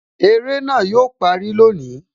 Eré náà yo parí lónìí